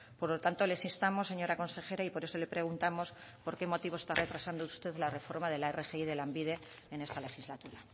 por lo tanto les instamos señora consejera y por eso le preguntamos por qué motivo está retrasando usted la reforma de la rgi de lanbide en esta legislatura